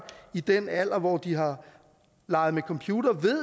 i den alder hvor de har leget med computere ved